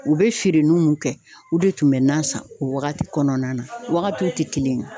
U be feere n'u mun kɛ u de tun bɛ nan san o wagati kɔnɔna na wagatiw te kelen ye